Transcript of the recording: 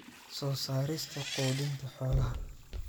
soo saarista quudinta xoolaha.